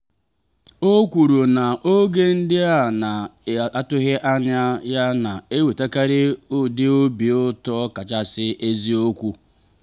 o kwuru na oge ndị a na-atụghị anya ya na-ewetakarị ụdị obi ụtọ kachasị eziokwu.